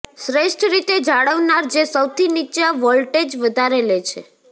શ્રેષ્ઠ રીતે જાળવનાર જે સૌથી નીચા વોલ્ટેજ વધારે લે છે